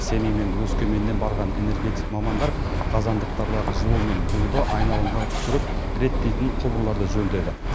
семей мен өскеменнен барған энергетик мамандар қазандықтардағы жылу мен буды айналымға түсіріп реттейтін құбырларды жөндеді